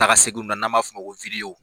Taga seginw na n'an b'a fɔ o ma ko .